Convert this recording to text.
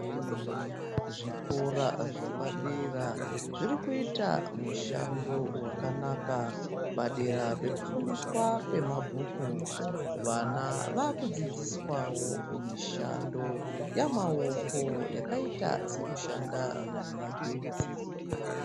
Zvikora zvapadera zvirikuita mushando wakanaka padera pekufundiswa kwemabhuku. Vana vakudzidziswawo mishando yamaoko yakaita sekushanda nemagetsi .